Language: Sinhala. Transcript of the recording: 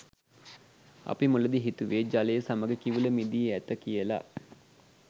අපි මුලදී හිතුවේ ජලය සමග කිවුල මිදී ඇත කියලා.